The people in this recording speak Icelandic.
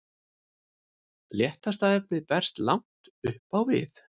léttasta efnið berst langt upp á við